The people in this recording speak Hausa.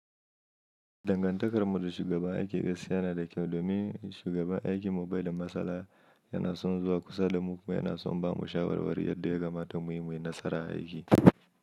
Dangantakar mu da shugaban aiki gaskiya yana da kyau domin shugaban aikinmu bai da matsala, yana son zuwa kusa da mu kuma yana son ba mu shawarwari yadda ya kama ta mu yi muyi nasara a aiki.